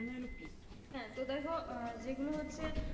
হ্যাঁ তো দেখো যেগুলো হচ্ছে,